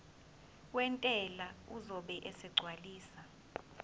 wentela uzobe esegcwalisa